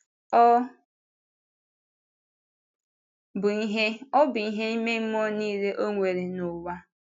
Ọ́ bụ ihe Ọ́ bụ ihe ime mmụọ niile Ọ nwere n’ụwa.